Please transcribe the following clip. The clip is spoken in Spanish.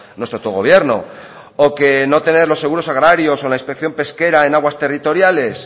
nuestro autogobierno o que no tener los seguros agrarios o la inspección pesquera en aguas territoriales